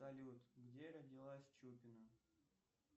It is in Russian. салют где родилась чупина